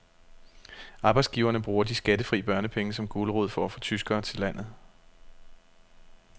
Arbejdsgiverne bruger de skattefri børnepenge som gulerod for at få tyskere til landet.